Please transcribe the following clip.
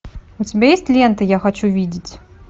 у тебя есть лента я хочу видеть